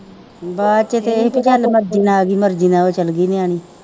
ਬਸ ਇਹ ਤੇ ਗੱਲ ਮੈਂ ਬਿਨਾਂ ਉਹਦੀ ਮਰਜ਼ੀ ਨਾਲ ਉਹ ਚੱਲ ਗਈ ਨਿਆਣੀ